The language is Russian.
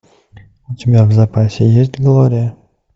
у тебя в запасе есть глория